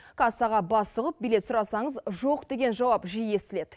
кассаға бас сұғып билет сұрасаңыз жоқ деген жауап жиі естіледі